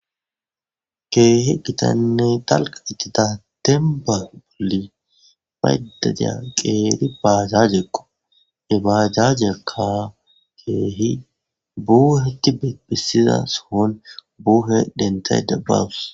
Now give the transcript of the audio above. Keehi gitanne dalga gidida demban bayida diya qeri bajajeko , hebajajiyaka keehi buhetid besiza sohon buuhe dentayda bawusi